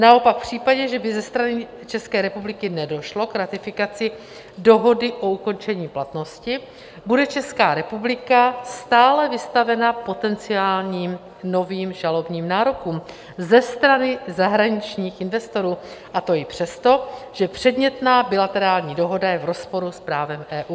Naopak v případě, že by ze strany České republiky nedošlo k ratifikaci dohody o ukončení platnosti, bude Česká republika stále vystavena potenciálním novým žalobním nárokům ze strany zahraničních investorů, a to i přesto, že předmětná bilaterální dohoda je v rozporu s právem EU.